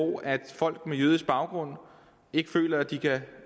folk med jødisk baggrund ikke føler at de kan